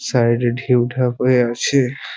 Side -এ ঢেউ ঢাক হয়ে আছে।